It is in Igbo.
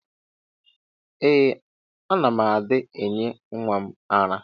Ee ana m adi enye nwam ara.